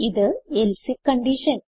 ഇത് else if condition